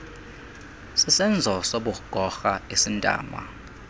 sisenzo sobugorha esintama